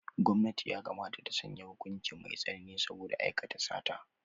Gwamnati yakamata ta sanya hukuci mai tsanani saboda aikata sata.